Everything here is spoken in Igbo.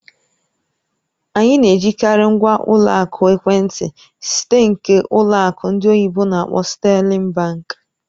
Anyị na-ejikarị ngwa ụlọ akụ ekwentị site nke ụlọ akụ ndị oyibo n'akpọ "Sterling Bank"